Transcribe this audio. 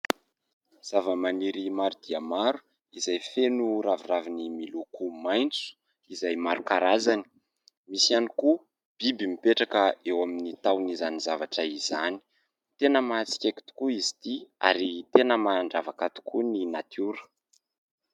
Zava-maniry maro dia maro izay feno ravina miloko maintso izay maro karazany, misy ihany koa biby mipetraka eo amin'ny tahon'izany zavatra izany ; tena mahatsikaiky tokoa izy ity ary mandravaka ny natiora.